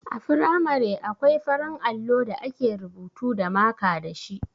A firamare akwai farin allo da ake rubutu da maka dashi.